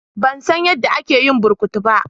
Ban san yadda ake yin burkutu ba.